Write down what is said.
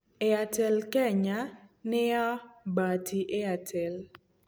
Airtel Kenya nĩ ya Bharti Airtel.